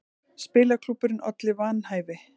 Spilaklúbburinn olli vanhæfi